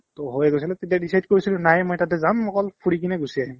to হৈয়ে গৈছে ন তেতিয়া decide কৰিছিলো নায়ে মই তাতে যাম অকল ফুৰি কিনে গুচি আহিম ।